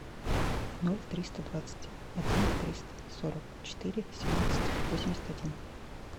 ноль триста двадцать один триста сорок четыре семнадцать восемьдесят один